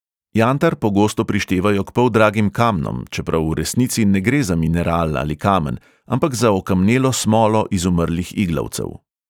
Jantar pogosto prištevajo k poldragim kamnom, čeprav v resnici ne gre za mineral ali kamen, ampak za okamnelo smolo izumrlih iglavcev.